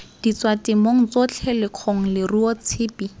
ditswatemong tsotlhe lekgong leruo tshipi